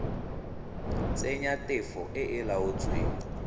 tsenya tefo e e laotsweng